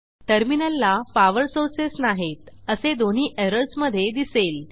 टर्मिनलला power sources नाहीत असे दोन्ही एरर्समधे दिसेल